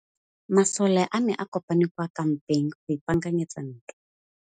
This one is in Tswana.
Masole a ne a kopane kwa kampeng go ipaakanyetsa ntwa.